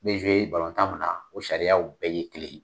I bɛ tan min na o sariyaw bɛɛ ye kelen ye.